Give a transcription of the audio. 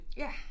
Ja